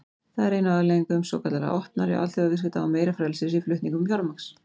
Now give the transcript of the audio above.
Það er ein af afleiðingum svokallaðra opnari alþjóðaviðskipta og meira frelsis í flutningum fjármagns.